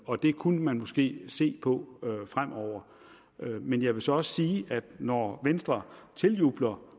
og det kunne man måske se på fremover men jeg vil så også sige at når venstre tiljubler